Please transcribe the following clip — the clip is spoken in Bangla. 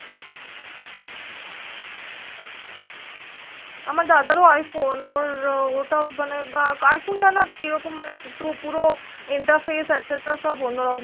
আমার দাদা রো i Phone ওর ওটা মানে i Phone তা কি রকম একটু পুরো interface etcetera সব অন্য রকম